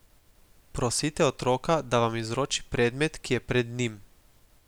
Prosite otroka, da vam izroči predmet, ki je pred njim.